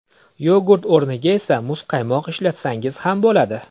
Yogurt o‘rniga esa muzqaymoq ishlatsangiz ham bo‘ladi.